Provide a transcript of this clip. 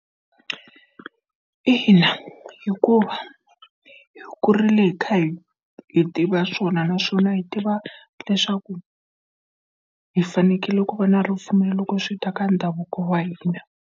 Ina hikuva hi kurile hi kha hi hi tiva swona naswona hi tiva leswaku hi fanekele ku va na ripfumelo loko swi ta ka ndhavuko wa hina.